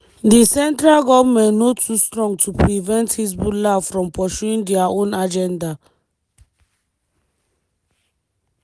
di central goment no too strong to prevent hezbollah from pursuing dia own agenda.